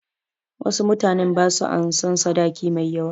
Wasu mutanen ba su ansan sadaki mai yawa.